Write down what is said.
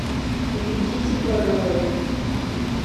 введите пароль